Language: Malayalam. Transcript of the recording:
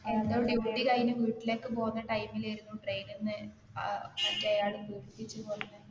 duty കഴിഞ്ഞ് വീട്ടിലേക്ക് പോകുന്ന time ലെയിരുന്നു train ന്ന് അഹ് മറ്റെയാൾ പീഡിപ്പിച്ച് കൊല്ലുന്നെ